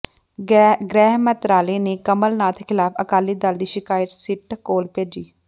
ਗ੍ਰਹਿ ਮੰਤਰਾਲੇ ਨੇ ਕਮਲ ਨਾਥ ਖਿਲਾਫ ਅਕਾਲੀ ਦਲ ਦੀ ਸ਼ਿਕਾਇਤ ਸਿਟ ਕੋਲ ਭੇਜੀ